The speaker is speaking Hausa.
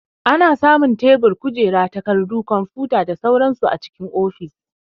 Ana samun tebur, kujera, takarɗu, kwamfuta da sauran su a cikin ofis.